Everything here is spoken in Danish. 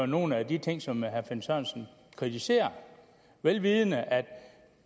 nogle af de ting som herre finn sørensen kritiserer vel vidende at